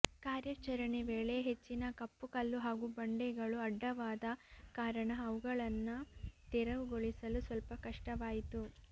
ಕಾರ್ಯಚರಣೆ ವೇಳೆ ಹೆಚ್ಚಿನ ಕಪ್ಪು ಕಲ್ಲು ಹಾಗೂ ಬಂಡೆಗಳು ಅಡ್ಡವಾದ ಕಾರಣ ಅವಗಳನ್ನು ತೆರವು ಗೊಳಿಸಲು ಸ್ವಲ್ಪ ಕಷ್ಟವಾಯಿತು